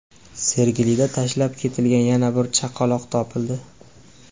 Sergelida tashlab ketilgan yana bir chaqaloq topildi.